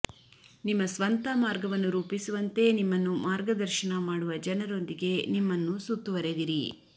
ನಿಮ್ಮ ಸ್ವಂತ ಮಾರ್ಗವನ್ನು ರೂಪಿಸುವಂತೆ ನಿಮ್ಮನ್ನು ಮಾರ್ಗದರ್ಶನ ಮಾಡುವ ಜನರೊಂದಿಗೆ ನಿಮ್ಮನ್ನು ಸುತ್ತುವರೆದಿರಿ